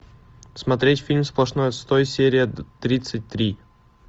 смотреть фильм сплошной отстой серия тридцать три